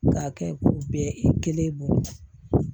K'a kɛ k'u bɛɛ kelen bolo